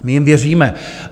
My jim věříme.